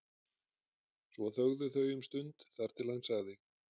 Svo þögðu þau um stund þar til hann sagði